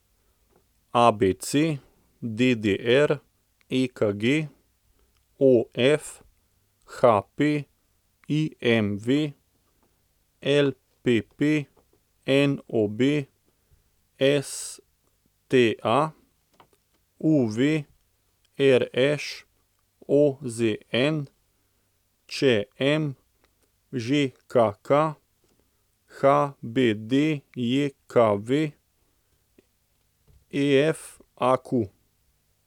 ABC, DDR, EKG, OF, HP, IMV, LPP, NOB, STA, UV, RŠ, OZN, ČM, ŽKK, HBDJKV, FAQ.